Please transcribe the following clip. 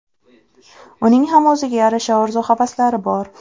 Uning ham o‘ziga yarasha orzu-havaslari bor.